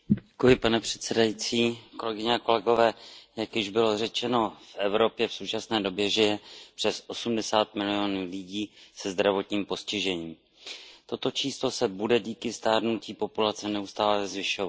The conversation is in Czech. Pane předsedající, jak již bylo řečeno, v Evropě v současné době žije přes osmdesát milionů lidí se zdravotním postižením. Toto číslo se bude díky stárnutí populace neustále zvyšovat.